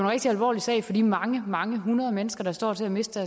rigtig alvorlig sag for de mange mange hundrede mennesker der står til at miste